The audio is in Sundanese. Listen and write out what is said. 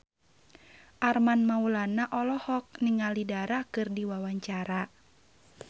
Armand Maulana olohok ningali Dara keur diwawancara